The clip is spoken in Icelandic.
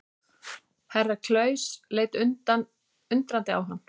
Herra Klaus leit undrandi á hann.